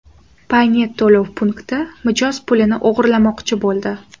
Paynet to‘lov punkti mijoz pulini o‘g‘irlamoqchi bo‘ldi.